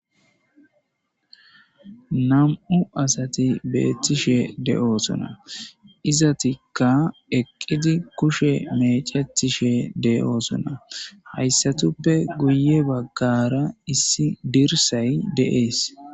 Namu'u asati betishe dossona. Izatika eqiddi kushe meccetishe deyosona. Hayiatupe guye baggara issi dirisayi deyesi